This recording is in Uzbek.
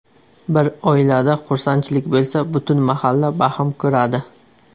Bir oilada xursandchilik bo‘lsa, butun mahalla baham ko‘radi.